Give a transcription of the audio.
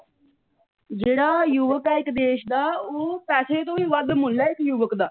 ਜਿਹੜਾ ਯੁਵੱਕ ਆ ਇੱਕ ਦੇਸ਼ ਦਾ ਉਹ ਪੈਸੇ ਤੋਂ ਵੀ ਵੱਧ ਮੁੱਲ ਇਸ ਯੁਵੱਕ ਦਾ।